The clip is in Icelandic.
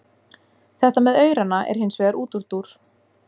Þetta með aurana er hins vegar útúrdúr.